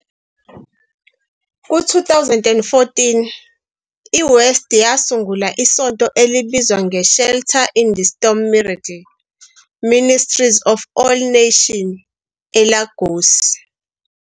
Ku-2014, iWest yasungula isonto elibizwa nge- "Shelter in the Storm Miracle Ministries of All Nation" eLagos.